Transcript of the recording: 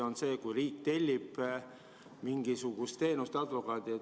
Või on see siis, kui riik tellib advokaadilt mingisugust teenust?